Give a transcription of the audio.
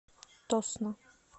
тосно